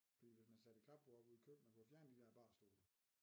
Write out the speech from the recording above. Fordi hvis man satte et klapbord oppe ude i køkkenet man kunne fjerne de dér barstole